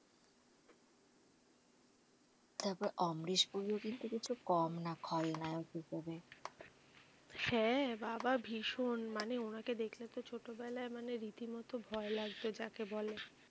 তারপর অমরেশ পুরি ও কিন্তু কিছু কম না। খলনায়ক হিসেবে হ্যাঁ বাবা ভীষণ মানে ওনাকে দেখলে তো ছোটবেলায় মানে রীতি মতো ভয় লাগতো যাকে বলে।